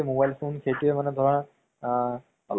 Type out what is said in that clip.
ধৰা আমাৰ অলপ লাগি থাকে